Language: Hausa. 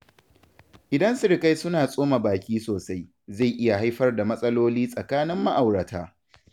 Idan sirikai suna tsoma baki sosai, zai iya haifar da matsaloli tsakanin ma’aurata.